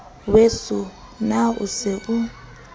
weso na o se o